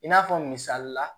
I n'a fɔ misalila